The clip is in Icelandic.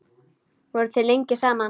Voruð þið lengi saman?